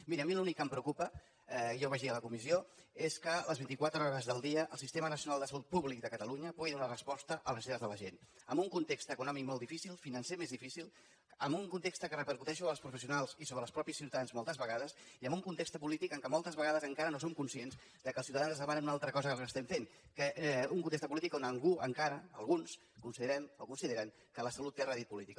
miri a mi l’únic que em preocupa ja ho vaig dir a la comissió és que les vint i quatre hores del dia el sistema nacional de salut pública de catalunya pugui donar resposta a les necessitats de la gent en un context econòmic molt difícil financer més difícil en un context que repercuteix sobre els professionals i sobre els mateixos ciutadans moltes vegades i en un context polític en què moltes vegades encara no som conscients que els ciutadans ens demanen una altra cosa que el que fem un context polític on algú encara alguns considerem o consideren que la salut té rèdit polític